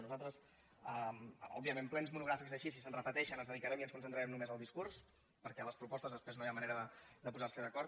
nosaltres òbviament plens monogràfics així si se’n repeteixen ens dedicarem i ens concentrarem només en el discurs perquè a les propostes després no hi ha manera de posar se d’acord